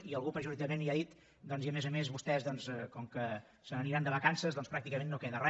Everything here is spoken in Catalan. i algú pejorativament ja ha dit i a més a més vostès com que se n’aniran de vacances pràcticament no queda re